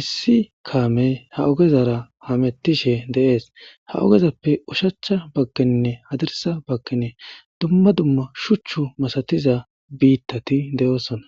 issi kaamey ha ogezara hamettishe de7ees ha ogezappe ushachcha bakkenne hadirsa bakkene dumma dumma shuchchu masatiza biittati de7oosona